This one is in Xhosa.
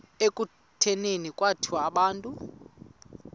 ekutuneni kwethu abantu